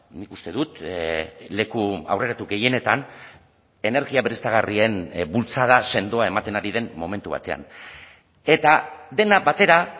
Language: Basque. nik uste dut leku aurreratu gehienetan energia berriztagarrien bultzada sendoa ematen ari den momentu batean eta dena batera